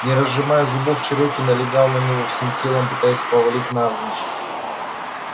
не разжимая зубов чероки налегал на него всем телом пытаясь повалить навзничь